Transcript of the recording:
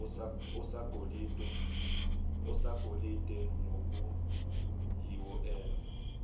osagolide nokuyiwo enza